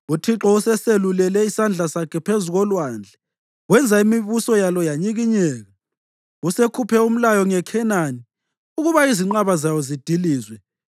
UThixo useselulele isandla sakhe phezu kolwandle wenza imibuso yalo yanyikinyeka. Usekhuphe umlayo ngeKhenani ukuba izinqaba zayo zidilizwe.